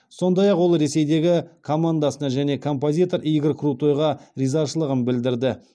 сондай ақ ол ресейдегі командасына және композитор игорь крутойға ризашылығын білдірді